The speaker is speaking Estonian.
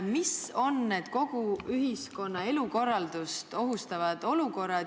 Mis on need kogu ühiskonna elukorraldust ohustavad olukorrad?